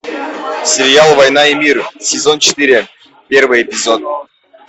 сериал война и мир сезон четыре первый эпизод